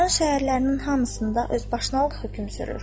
Aran şəhərlərinin hamısında özbaşınalıq hökm sürür.